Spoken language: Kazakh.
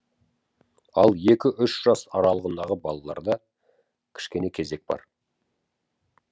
ал екі үш жас аралығындағы балаларда кішкене кезек бар